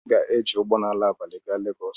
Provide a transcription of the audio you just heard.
M ga-eji ụgbọ ala abalị gaa Legos.